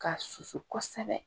K'a susu kosɛbɛ